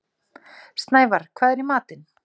Snævarr, hvað er í matinn?